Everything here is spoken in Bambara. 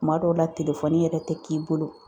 Kuma dɔw la yɛrɛ tɛ k'i bolo